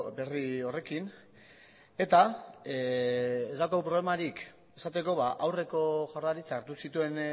berri horrekin eta ez daukagu problemarik esateko aurreko jaurlaritzak hartu zituen